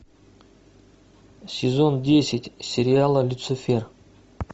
сезон десять сериала люцифер